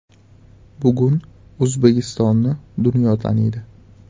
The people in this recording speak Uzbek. Bugun O‘zbekistonni dunyo taniydi.